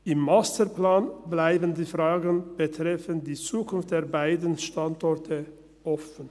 Im Masterplan bleiben die Fragen betreffend Zukunft der beiden Standorte offen.